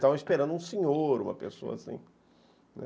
Estavam esperando um senhor, uma pessoa assim.